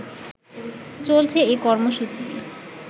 চলছে এ কর্মসূচি